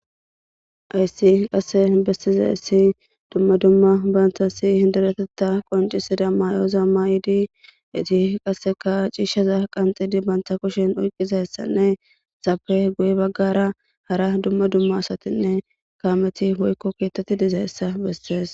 Hayissi qase besizayiss dumma dumma banitassi dereteththa qonccissiza mayoza mayidd etti qasekka cishshaza qanixxidi banta kushshenni oyikkizayisanne entappe guye bagara dumma dumma asati woyikko kameti dizayissa besses